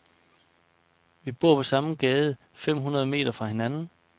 Vi bor på samme gade fem hundrede meter fra hinanden.